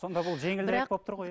сонда бұл жеңілірек болып тұр ғой иә